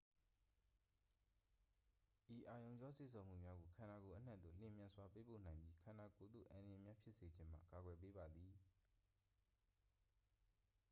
ဤအာရုံကြော စေ့ဆော်မှုများကို ခန္ဓာကိုယ်အနှံ့သို့ လျင်မြန်စွာ ပေးပို့နိုင်ပြီး ခန္ဓာကိုယ်သို့ အန္တရာယ်များ ဖြစ်စေခြင်းမှ ကာကွယ်ပေးပါသည်